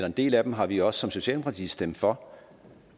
en del af dem har vi også som socialdemokrati stemt for